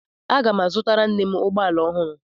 Aga m azụtara nne m ụgbọala ọhụrụ.